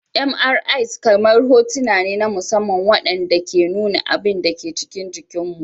MRIs kamar hotuna ne na musamman waɗanda ke nuna abin da ke cikin jikinmu.